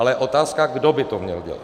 Ale otázka je, kdo by to měl dělat.